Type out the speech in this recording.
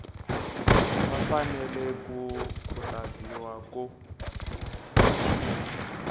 va fanele ku khutaziwa ku